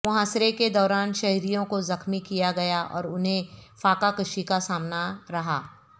محاصرے کے دوران شہریوں کو زخمی کیا گیا اور انھیں فاقہ کشی کا سامنا رہا